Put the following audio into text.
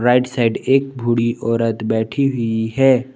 Right side एक बूढी औरत बैठी हुई है।